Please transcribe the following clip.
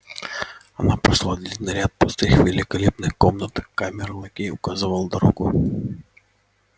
она прошла длинный ряд пустых великолепных комнат камер-лакей указывал дорогу